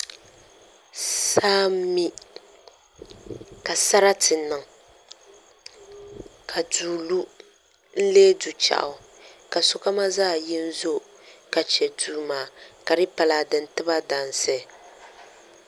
Saa n mi ka sarati niŋ ka duu lu n lee du chɛɣu ka sokamo zaa yi n zo ka chɛ duri maa ka di yi pa laa di ni tiba dansi